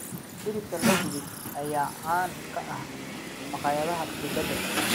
Hilibka la dubay ayaa caan ka ah maqaayadaha dibadda.